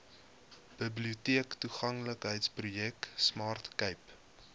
biblioteektoeganklikheidsprojek smart cape